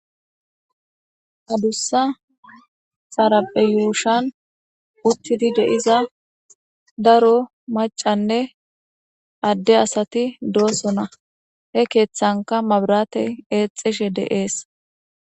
adussa xarape yuushan uttidi deiza daro macanne adde asati doosona he keeththanka mabrate eexishe deees